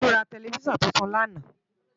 Tolu rá tèlèfisán tútún làná